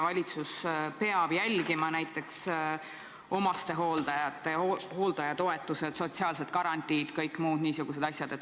Valitsus peab tõepoolest jälgima näiteks omastehooldajate hooldajatoetusi, sotsiaalseid garantiisid ja muid niisuguseid asju.